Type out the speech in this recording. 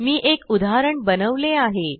मी एक उदाहरण बनवले आहे